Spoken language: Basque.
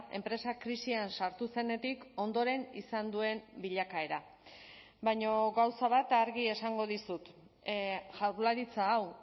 enpresa krisian sartu zenetik ondoren izan duen bilakaera baina gauza bat argi esango dizut jaurlaritza hau